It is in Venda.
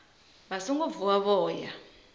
vha songo vuwa vho ya